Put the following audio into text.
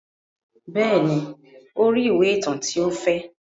Bẹ́ẹ̀ ni, ó rí ìwé ìtàn tí ó fẹ́.